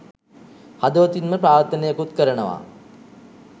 හදවතින්ම ප්‍රාර්ථනයකුත් කරනවා